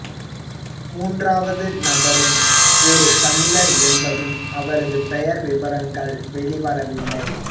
மூன்றாவது நபரும் ஒரு தமிழர் என்பதும் அவரது பெயர் விபரங்கள் வெளிவரவில்லை